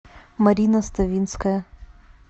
марина ставинская